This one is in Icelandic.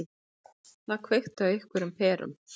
Það kveikti á einhverjum perum.